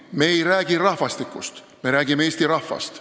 Me ei räägi rahvastikust, me räägime eesti rahvast.